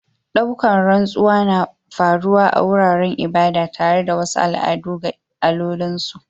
Ɗaukan rantsuwa na faru a wuraren ibada tare da wasu al'adu ga allolin su.